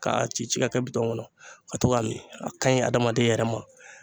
Ka ci ci ka kɛ kɔnɔ ka to ka min a kaɲi adamaden yɛrɛ ma.